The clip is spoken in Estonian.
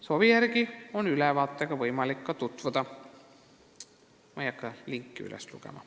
Soovi korral on võimalik selle ülevaatega ka tutvuda, aga ma ei hakka siin linki ette lugema.